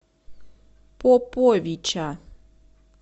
поповича